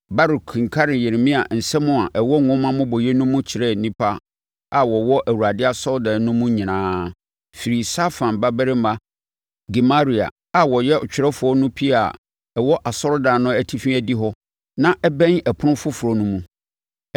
Baruk kenkanee Yeremia nsɛm a ɛwɔ nwoma mmobɔeɛ no mu kyerɛɛ nnipa a wɔwɔ Awurade asɔredan no mu nyinaa; firii Safan babarima Gemaria a ɔyɛ ɔtwerɛfoɔ no pia a ɛwɔ asɔredan no atifi adihɔ na ɛbɛn Ɔpono Foforɔ no mu.